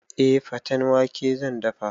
Eh, faten wake zan dafa